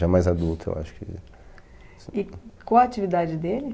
Já mais adulto, eu acho que... E qual a atividade dele?